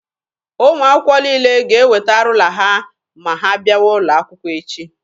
Ụmụ akwụkwọ niile ga-eweta ruula ha ma ha bịawa ụlọ akwụkwọ echi.